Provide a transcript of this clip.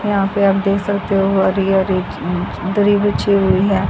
यहां पे आप देख सकते हो हरी हरी दरी बची हुई हैं।